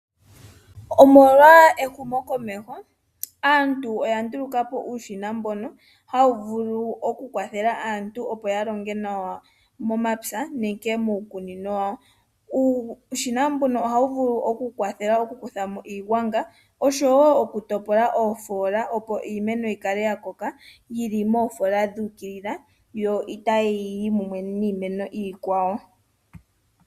Omolwa ehumokomeho aantu oya ndulukapo uushina mbono hawu vulu okukwathela aantu opo yalonge nawa momapya nenge miikunino yawo. uushina mbuno ohawu vulu oku kwathela okukuthamo iigwanga oshowo okutopla oofoola opo iimeno yikale yili moofoola dhu ukilila yo itayiyi mumwe niimeno iikwawo.